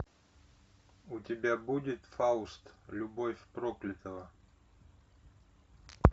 у тебя будет фауст любовь проклятого